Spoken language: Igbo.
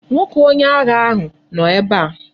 Nwoke onye agha ahu no ebe a